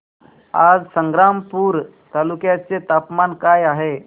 आज संग्रामपूर तालुक्या चे तापमान काय आहे